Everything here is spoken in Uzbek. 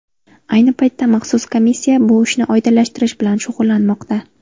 Ayni paytda maxsus komissiya bu ishni oydinlashtirish bilan shug‘ullanmoqda.